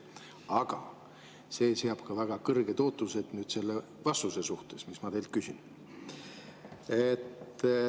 Aga see seab ka väga kõrged ootused selle vastuse suhtes, mida ma teilt.